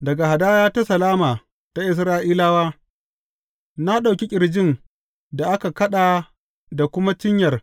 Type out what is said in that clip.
Daga hadaya ta salama ta Isra’ilawa, na ɗauki ƙirjin da aka kaɗa da kuma cinyar